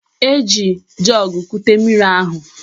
O ji jọọgụ kute mmiri ahụ